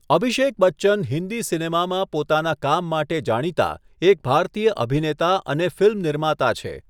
અભિષેક બચ્ચન હિન્દી સિનેમામાં પોતાના કામ માટે જાણીતા એક ભારતીય અભિનેતા અને ફિલ્મ નિર્માતા છે.